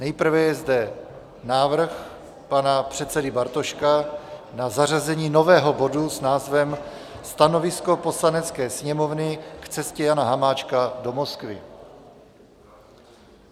Nejprve je zde návrh pana předsedy Bartoška na zařazení nového bodu s názvem Stanovisko Poslanecké sněmovny k cestě Jana Hamáčka do Moskvy.